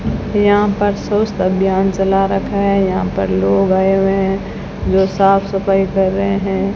यहां पर स्वस्थ अभियान चला रखा है यहां पर लोग आए हुए हैं जो साफ सफाई कर रहे हैं।